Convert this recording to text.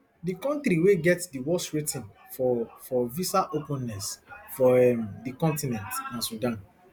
di kontri wey get di worst rating for for visa openness for um di continent na sudan